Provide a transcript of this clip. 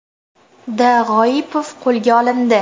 D. G‘oipov qo‘lga olindi.